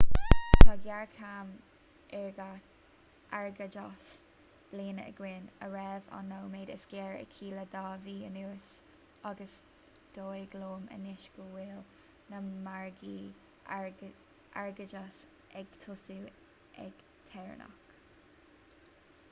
tá géarchéim airgeadais bliana againn a raibh an nóiméad is géire aici le dhá mhí anuas agus is dóigh liom anois go bhfuil na margaí airgeadais ag tosú ag téarnamh